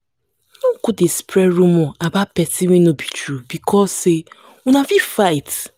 no go spread rumor about pesin wey wey no be true becos say una fight.